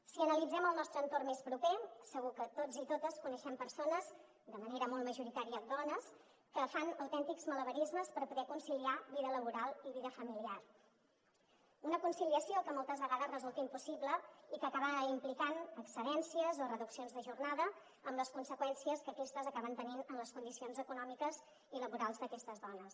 si analitzem el nostre entorn més proper segur que tots i totes coneixem persones de manera molt majoritària dones que fan autèntics malabarismes per poder conciliar vida laboral i vida familiar una conciliació que moltes vegades resulta impossible i que acaba implicant excedències o reduccions de jornada amb les conseqüències que aquestes acaben tenint en les condicions econòmiques i laborals d’aquestes dones